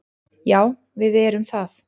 Já, við erum það.